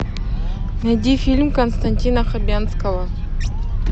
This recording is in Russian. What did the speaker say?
найди фильм константина хабенского